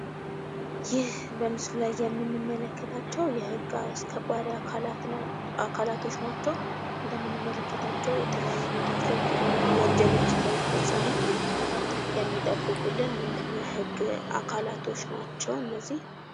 ይህ በምስሉ ላይ የምንመለከታቸው የህግ አስከባሪዎች ናቸው። የተለያዩ ቦታዎች ላይ ወንጀሎች እንዳይሰሩ የሚጠብቁልን ናቸው ።